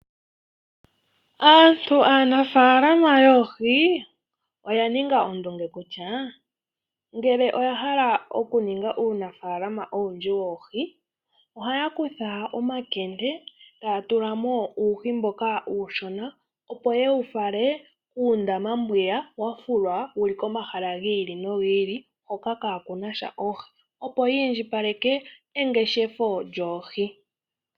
Aantu aanafaalama yoohi oya ninga oondunge kutya ngele oya hala oku ninga uunafaalama owundji woohi, ohaya kutha omakende e ta ya tula mo uuhi mboka uushona opo ye u fale kuundama mbwiya wa fulwa komahala hoka kaa ku nasha oohi, opo ya indjipaleke engeshefo lyoohi.